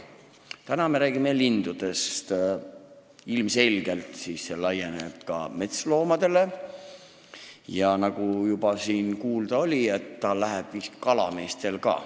Täna me räägime lindudest, aga ilmselgelt laieneb see kõik ka metsloomadele ja nagu siin juba kuulda oli, vist ka kalameestele.